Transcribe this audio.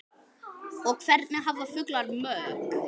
og Hvernig hafa fuglar mök?